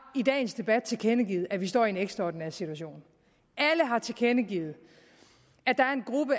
i dagens debat tilkendegivet at vi står i en ekstraordinær situation alle har tilkendegivet